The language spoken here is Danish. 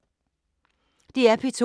DR P2